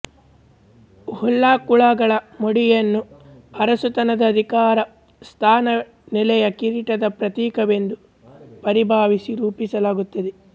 ಉಲ್ಲಾಕುಳಗಳ ಮುಡಿಯನ್ನು ಅರಸುತನದ ಅಧಿಕಾರ ಸ್ಥಾನ ನೆಲೆಯ ಕಿರೀಟದ ಪ್ರತೀಕವೆಂದು ಪರಿಭಾವಿಸಿ ರೂಪಿಸಲಾಗುತ್ತದೆ